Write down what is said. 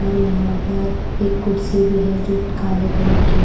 और यहां पर एक कुर्सी भी है जो काले कलर की--